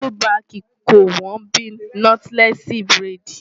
ọ́lúbaàkì kò wọ́n bíi Nọ́tílẹ́ẹ̀sì buredì.